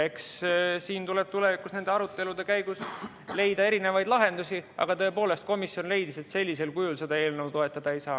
Eks siin tuleb tulevikus nende arutelude käigus leida erinevaid lahendusi, aga tõepoolest, komisjon leidis, et sellisel kujul seda eelnõu toetada ei saa.